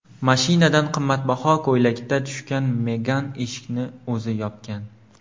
Mashinadan qimmatbaho ko‘ylakda tushgan Megan eshikni o‘zi yopgan.